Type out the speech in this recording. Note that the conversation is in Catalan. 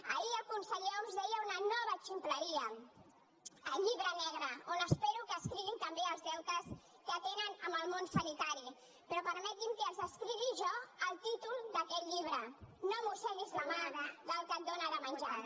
ahir el conseller homs deia una nova ximpleria el llibre negre on espero que escriguin també els deutes que tenen amb el món sanitari però permeti’m que els l’escrigui jo el títol d’aquest llibre no mosseguis la mà del que et dóna de menjar